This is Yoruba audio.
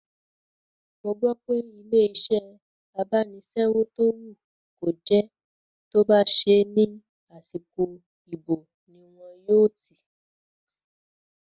Mo gbọ́ pé ilé-iṣẹ́ abánisẹ́wò tó wù kó jẹ́ tó bá ṣẹ́ ní àsìkò ìbò ní wọn yóò tì